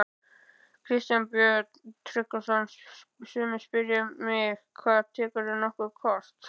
Kristján Björn Tryggvason: Sumir spyrja mig: Hvað, tekurðu nokkuð kort?